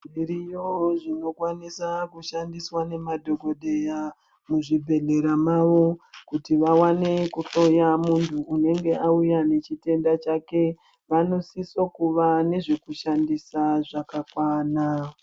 Zviriyo zvino kwanisa kushandiswa ne madhokoteya mu zvibhedhlera mavo kuti vawane ku hloya muntu unenge auya ne chitenda chake vanosisa kuva nezve kushandisa zvakakwana.